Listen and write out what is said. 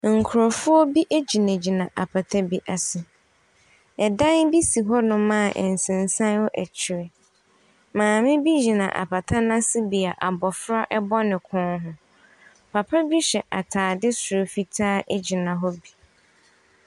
Nkurɔfoɔ bi gyinagyina apata bi ase. Ɛdan bi si hɔnom a nsensan wɔ akyire. Maame bi gyina apata no ase bea abɔfra bɔ ne kɔn ho. Papa bi hyɛ atade soro fitaa gyina hɔ bi.